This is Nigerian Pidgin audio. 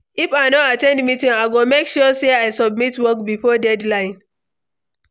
If I no at ten d meeting, I go make sure say I submit work before deadline.